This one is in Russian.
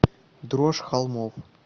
дрожь холмов